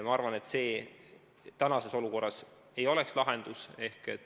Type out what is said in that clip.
Ma arvan, et see ei oleks praeguses olukorras lahendus.